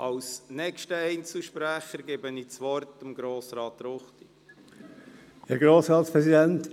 Als nächster Einzelsprecher hat Grossrat Ruchti das Wort.